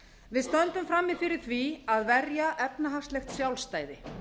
við stöndum frammi fyrir því að verja efnahagslegt sjálfstæði